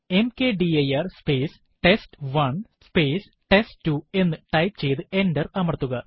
mkdir space test one space test two എന്ന് type ചെയ്തു enter അമർത്തുക